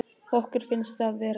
Okkur finnst við vera svikin.